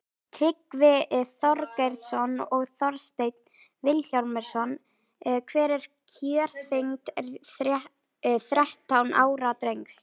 tryggvi þorgeirsson og þorsteinn vilhjálmsson hver er kjörþyngd þrettán ára drengs